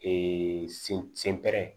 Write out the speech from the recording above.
sen pɛrɛn